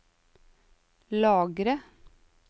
lagre